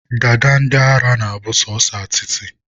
dada ndị ara na-abụ sọsọ atịtị